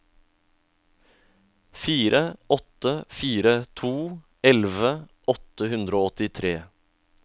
fire åtte fire to elleve åtte hundre og åttitre